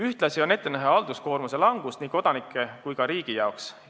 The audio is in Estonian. Ühtlasi on ette näha halduskoormuse langust nii kodanike kui ka riigi jaoks.